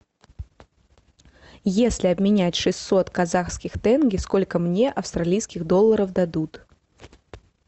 если обменять шестьсот казахских тенге сколько мне австралийских долларов дадут